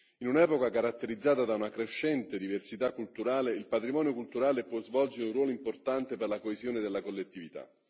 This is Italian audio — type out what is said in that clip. In un'epoca caratterizzata da una crescente diversità culturale, il patrimonio culturale può svolgere un ruolo importante per la coesione della collettività.